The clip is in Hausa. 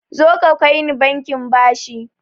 Zoka kaini bankin bashi